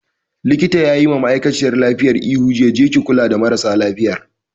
Likitan yayi ma ma'aikaciyar lafiyan ihu jiya 'Je ki kula da marasa lafiyar'!